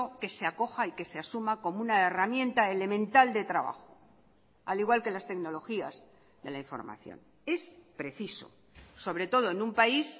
que se acoja y que se asuma como una herramienta elemental de trabajo al igual que las tecnologías de la información es preciso sobre todo en un país